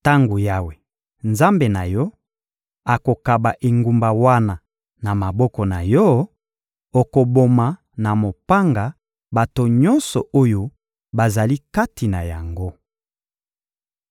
Tango Yawe, Nzambe na yo, akokaba engumba wana na maboko na yo, okoboma na mopanga bato nyonso oyo bazali kati na yango.